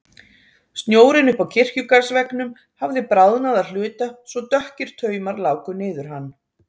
Snjórinn uppi á kirkjugarðsveggnum hafði bráðnað að hluta svo dökkir taumar láku niður hann.